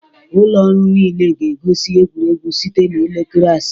Ụlọ ọrụ niile ga-egosi egwuregwu site na elekere asaa